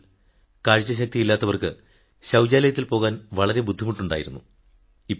ഞങ്ങൾ അന്ധരായവർക്ക് ശൌചാലയത്തിൽ പോകാൻ വളരെ ബുദ്ധിമുട്ടുണ്ടായിരുന്നു